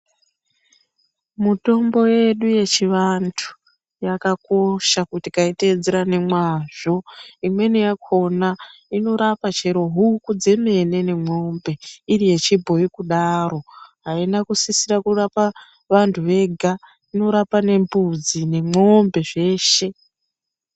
Mutombo yedu yechivantu yakakosha kuti tikaitedzeera nemwazvo imweni yakhona inorapa chero huku dzemene nemwombe iri yechibhoyi kudaro aina kusisira kurapa vantu vega inorapa nembudzi nemwombe zveshe.